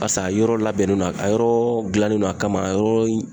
Paseke yɔrɔ labɛnnen don, a yɔrɔ gilannen don a kama a yɔrɔ